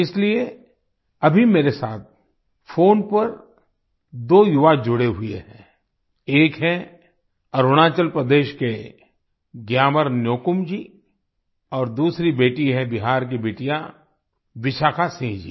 इसलिए अभी मेरे साथ फ़ोन पर दो युवा जुड़े हुए हैं एक हैं अरुणाचल प्रदेश के ग्यामर न्योकुम जी और दूसरी बेटी है बिहार की बिटिया विशाखा सिंह जी